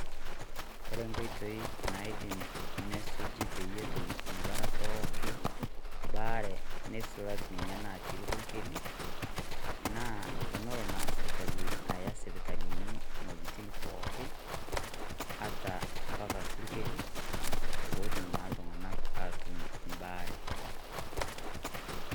Kore nkoitoi naidim nesuji peyie etum inkera pooki baare neisulaki nena natii irpukeli, naa tonolo naa sirkali aya sipitalini iwuejiting pookin, ata mpaka irpukeli, potum naa iltung'anak atum ibaare.